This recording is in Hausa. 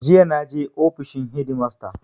Jiya na je ofishin hedimasta.